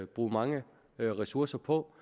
bruge mange ressourcer på